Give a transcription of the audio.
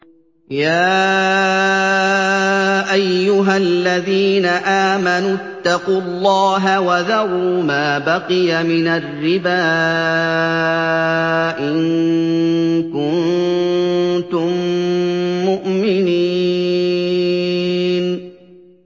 يَا أَيُّهَا الَّذِينَ آمَنُوا اتَّقُوا اللَّهَ وَذَرُوا مَا بَقِيَ مِنَ الرِّبَا إِن كُنتُم مُّؤْمِنِينَ